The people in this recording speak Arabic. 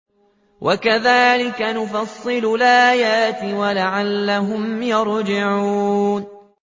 وَكَذَٰلِكَ نُفَصِّلُ الْآيَاتِ وَلَعَلَّهُمْ يَرْجِعُونَ